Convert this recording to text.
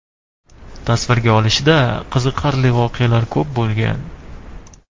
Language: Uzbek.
Tasvirga olishda qiziqarli voqealar ko‘p bo‘lgan.